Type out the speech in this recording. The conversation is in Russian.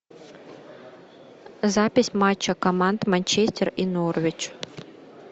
запись матча команд манчестер и норвич